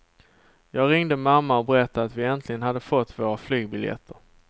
Jag ringde mamma och berättade att vi äntligen hade fått våra flygbiljetter.